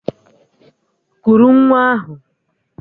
Kuru nwa ahụ!